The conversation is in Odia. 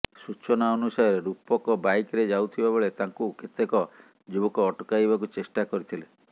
ସୂଚନା ଅନୁସାରେ ରୂପକ ବାଇକ୍ରେ ଯାଉଥିବା ବେଳେ ତାଙ୍କୁ କେତେକ ଯୁବକ ଅଟକାଇବାକୁ ଚେଷ୍ଟା କରିଥିଲେ